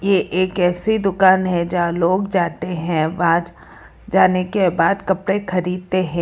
ये एक ऐसी दुकान है जहां लोग जाते हैं जाने के बाद कपड़े खरीदते हैं।